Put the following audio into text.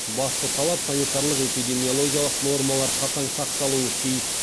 басты талап санитарлық эпидемиологиялық нормалар қатаң сақталуы тиіс